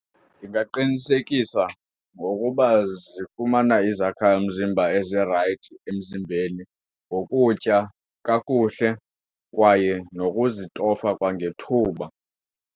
Ndingaqinisekisa ngokuba zifumana izakhamzimba ezirayithi emzimbeni ngokutya kakuhle kwaye nokuzitofa kwangethuba.